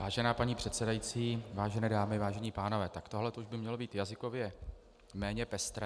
Vážená paní předsedající, vážené dámy, vážení pánové, tak tohle by už mělo být jazykově méně pestré.